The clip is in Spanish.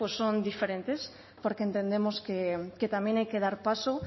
pues son diferentes porque entendemos que también hay que dar paso